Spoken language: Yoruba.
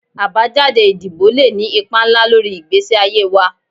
Abajade idibo le ni ipa nla lori igbesi aye wa